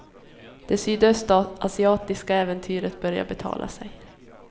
Det sydöstasiatiska äventyret börjar betala sig.